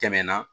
Tɛmɛna